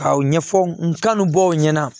K'aw ɲɛfɔ n kanu bɔ aw ɲɛna